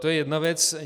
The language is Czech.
To je jedna věc.